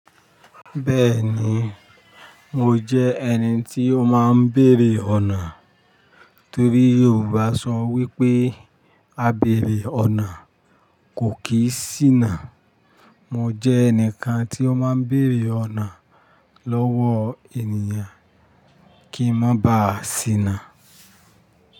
Bẹ́ẹ̀ni, mo jẹ́ ẹni tí ó máa ń bèrè ọ̀nà torí Yorùbá sọ wípé á bèrè ọ̀nà kò kí sì ná. Mo jẹ ẹnìkan tí ó máa ń bèrè ọ̀nà lọ́wọ́ ènìyàn kí n má bàá sì ná.